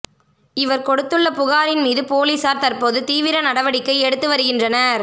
இவர் கொடுத்துள்ள புகாரின் மீது போலீசார் தற்போது தீவிர நடவடிக்கை எடுத்து வருகின்றனர்